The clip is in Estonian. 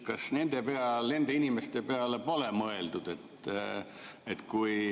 Kas nende inimeste peale pole mõeldud?